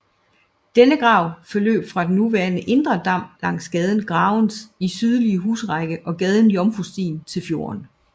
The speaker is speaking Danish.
Denne grav forløb fra den nuværende indre dam langs gaden Gravenes sydlige husrække og gaden Jomfrustien til fjorden